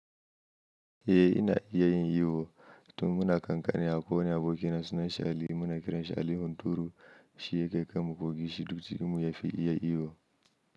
Eh ina iya yin iyo, tun muna kakanni ya ƙone abokina sunanshi Ali, muna kiran shi Ali hunturu, shi yake kaimu kogi shi duk cikinmu yafi iya iyo.